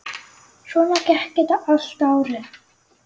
Svona gekk þetta allt árið.